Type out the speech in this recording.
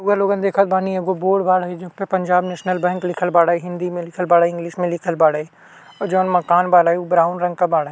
रउवा लोगन देखत बानी एगो बोर्ड बाड़े जे पे पंजाब नेशनल बैंक लिखल बाड़े हिन्दी में लिखल बाड़े इंग्लिश में लिखल बाड़े और जौन मकान बाड़े उ ब्राउन रंग के बाड़े। ।--